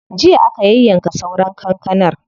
Jiya aka yayyanka sauran kankanar.